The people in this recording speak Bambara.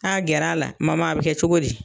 Taa gɛr'a la mama a bi kɛ cogo di